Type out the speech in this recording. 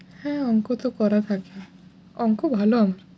হ্যাঁ অঙ্ক তো করা থাকে। অঙ্ক ভালো